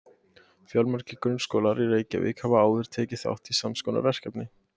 fjölmargir grunnskólar í reykjavík hafa áður tekið þátt í sams konar verkefni